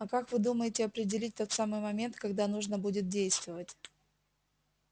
а как вы думаете определить тот самый момент когда нужно будет действовать